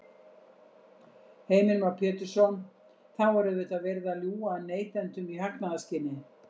Heimir Már Pétursson: Þá er auðvitað verið að ljúga að neytendum í hagnaðarskyni?